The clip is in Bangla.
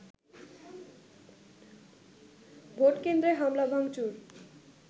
ভোটকেন্দ্রে হামলা ভাঙচুর